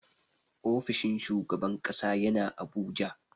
Ofishin shugaban ƙasa yana Abuja.